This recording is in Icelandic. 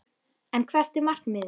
En hvert er markmiðið?